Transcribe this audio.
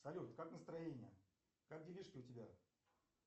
салют как настроение как делишки у тебя